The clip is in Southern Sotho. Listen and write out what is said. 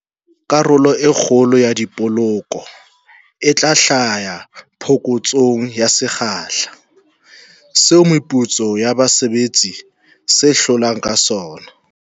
Karolo e kgolo ya dipoloko e tla hlaha phokotsong ya sekgahla seo meputso ya base betsi se holang ka sona.